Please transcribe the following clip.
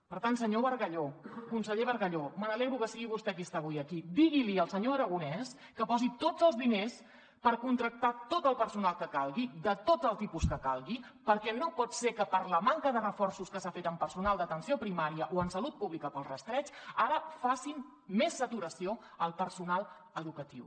per tant senyor bargalló conseller bargalló me n’alegro que sigui vostè qui està avui aquí digui li al senyor aragonès que posi tots els diners per contractar tot el personal que calgui de tots els tipus que calgui perquè no pot ser que per la manca de reforços que s’ha fet amb personal d’atenció primària o en salut pública per al rastreig ara facin més saturació al personal educatiu